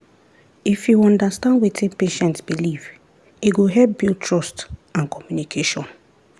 if you understand wetin patient believe e go help build trust and communication.